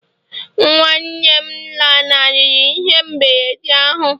nwa nwanne m lanarịrị ihe mberede ahụ